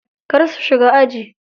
Kar su shiga aji.